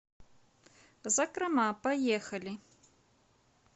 закрома поехали